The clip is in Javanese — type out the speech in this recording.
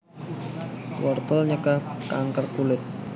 Wortel nyegah kanker kulit